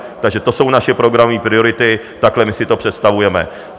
Takže to jsou naše programové priority, takhle my si to představujeme.